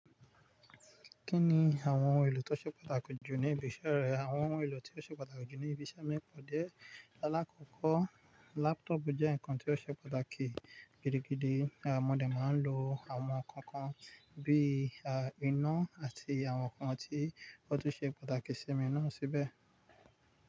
Kí ni àwọn ìlò tó ṣe pàtàkì jù ní ibi iṣẹ́ rẹ? Àwọn ìlò tí ó ṣe pàtàkì jù ní ibi iṣẹ́ mi pọ̀ dé. Láàkọ́kọ́, laptop jẹ́ ǹkan tí ó ṣe pàtàkì. Gídí gídí, mo de máa ń lò àwọn nǹkan kan bíi iná àti àwọn ǹkan tí ó tun ṣe pàtàkì sí mi na síbẹ̀.